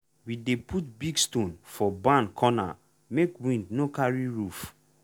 we dey put big stone for barn corner make wind no carry roof.